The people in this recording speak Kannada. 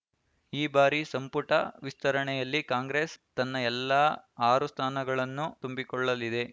ಈ ಬಾರಿ ಸಂಪುಟ ವಿಸ್ತರಣೆಯಲ್ಲಿ ಕಾಂಗ್ರೆಸ್‌ ತನ್ನ ಎಲ್ಲಾ ಆರು ಸ್ಥಾನಗಳನ್ನು ತುಂಬಿಕೊಳ್ಳಲಿದೆ